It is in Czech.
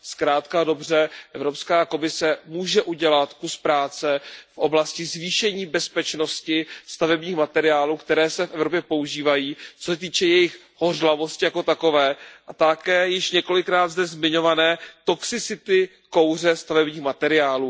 Zkrátka a dobře, Evropská komise může udělat kus práce v oblasti zvýšení bezpečnosti stavebních materiálů, které se v Evropě používají, co se týče jejich hořlavosti jako takové, a také v oblasti již několikrát zde zmiňované toxicity kouře stavebních materiálů.